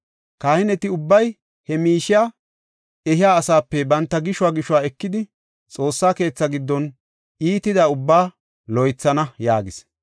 Kahineti ubbay he miishiya ehiya asaape banta gishuwa gishuwa ekidi, Xoossa keetha giddon iitida ubbaa loythana” yaagis.